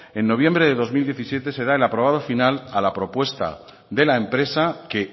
en noviembre de dos mil diecisiete se da el aprobado final a la propuesta de la empresa que